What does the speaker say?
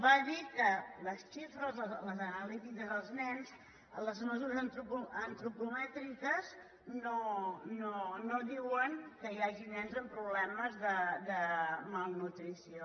va dir que les xifres les analítiques dels nens les mesu·res antropomètriques no diuen que hi hagi nens amb problemes de malnutrició